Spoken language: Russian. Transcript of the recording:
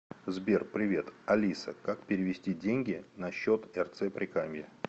сбер привет алиса как перевести деньги на счет рц прикамье